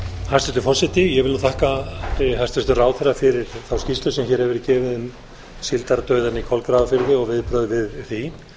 hæstvirtur forseti ég vil þakka hæstvirtum ráðherra fyrir þá skýrslu sem hér hefur verið gefin um síldardauðann í kolgrafafirði og viðbrögð við því